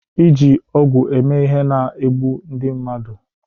iji ọgwụ eme ihe na-egbu ndị mmadụ